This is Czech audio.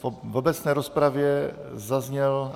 V obecné rozpravě zazněl...